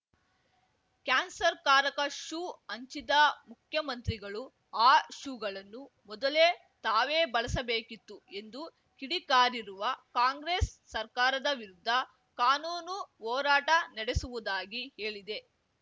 ಕ್ಯಾನ್ಸರ್‌ಕಾರಕ shoe ಹಂಚಿದ ಮುಖ್ಯಮಂತ್ರಿಗಳು ಆ ಶೂಗಳನ್ನು ಮೊದಲೇ ತಾವೇ ಬಳಸಬೇಕಿತ್ತು ಎಂದು ಕಿಡಿಕಾರಿರುವ ಕಾಂಗ್ರೆಸ್‌ ಸರ್ಕಾರದ ವಿರುದ್ಧ ಕಾನೂನು ಹೋರಾಟ ನಡೆಸುವುದಾಗಿ ಹೇಳಿದೆ